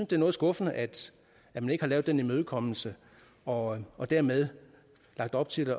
det er noget skuffende at man ikke har lavet en imødekommelse og og dermed lagt op til